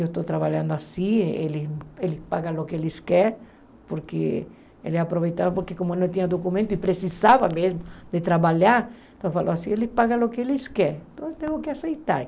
Eu estou trabalhando assim, ele ele paga o que ele quer, porque ele aproveitava, porque como eu não tinha documento e precisava mesmo de trabalhar, ele falou assim, ele paga o que ele quer, então eu tenho que aceitar.